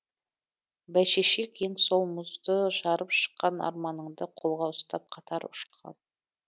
бәйшешек ең сол мұзды жарып шыққан арманыңды қолға ұстап қатар ұшқан